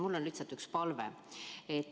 Mul on lihtsalt üks palve.